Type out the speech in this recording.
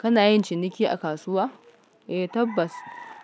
Kana yin ciniki a kasuwa? Eh tabbas